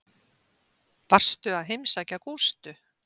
Varstu að heimsækja Gústu?